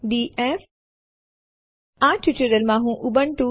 તમે આ વેબસાઈટ પર ટ્યુટોરીયલ શોધી શકો છો